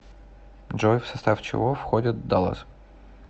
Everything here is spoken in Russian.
джой в состав чего входит даллас